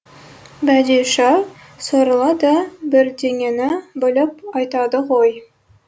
бәдиша сорлы да бірдеңені біліп айтады ғой